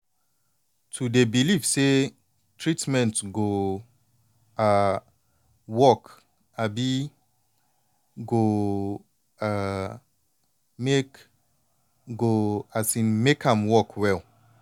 to dey believe say treatment go um work um go um make go um make am work well